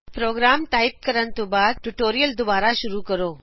programme type ਕਰਨ ਤੋ ਬਾਦ ਟਿਯੂਟੋਰਿਅਲ ਦੁਬਾਰਾ ਸ਼ੁਰੂ ਕਰੋ